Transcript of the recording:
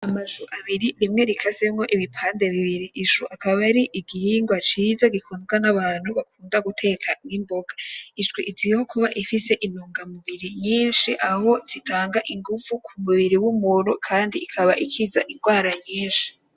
Amashu abiri rimwe rikasemwo ibipande bibiri, ishu akaba ari igingwa ciza gikundwa n'abantu bakunda guteka nk'imboga, ishu izwiho kuba ifise intungamubiri nyishi aho zitanga inguvu nyishi mubiri w'umuntu kandi ikaba ikiza ingwara nyishi